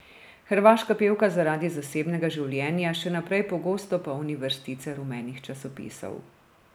Hrvaška pevka zaradi zasebnega življenja še naprej pogosto polni vrstice rumenih časopisov.